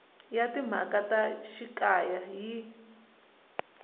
ya timhaka ta xikaya yi